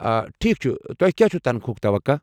آ ٹھیک چُھ، تۄہہ کیٚا چُھ تنخواہُک توقع؟